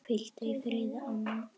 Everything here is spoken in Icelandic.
Hvíldu í friði, amma.